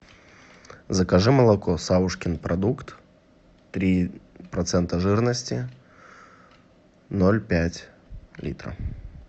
закажи молоко савушкин продукт три процента жирности ноль пять литра